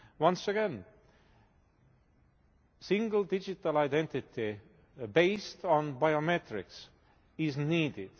Once again, single digital identity based on biometrics is needed.